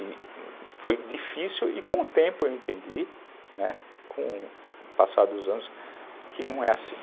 E foi difícil e com o tempo eu entendi, né, com o passar dos anos, que não é assim.